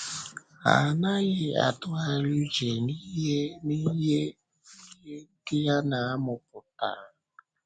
Ha anaghị atụgharị uche n’ihe ihe ndị ha na-amụ pụtara.